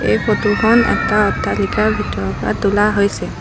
এই ফটো খন এটা অট্টালিকাৰ ভিতৰৰ পৰা তোলা হৈছে।